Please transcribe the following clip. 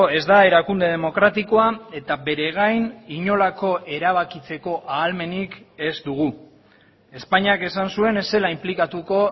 ez da erakunde demokratikoa eta bere gain inolako erabakitzeko ahalmenik ez dugu espainiak esan zuen ez zela inplikatuko